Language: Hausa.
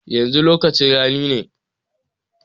Yanzu lokacin rani ne.